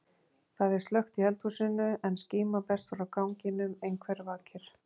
Það er slökkt í eldhúsinu en skíma berst frá ganginum, einhver vakir.